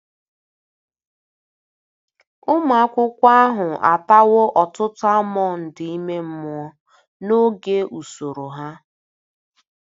Ụmụ akwụkwọ ahụ atawo ọtụtụ almọnd ime mmụọ n'oge usoro ha.